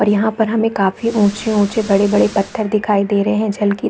और यहाँ पर हमें काफी ऊँचे-ऊँचे बड़े-बड़े पत्थर दिखाई दे रहे है झलकी --